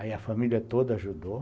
Aí a família toda ajudou.